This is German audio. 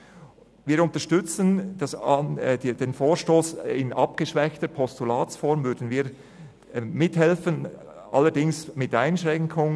Wir unterstützen den Vorstoss in abgeschwächter Postulatsform, allerdings mit Einschränkungen.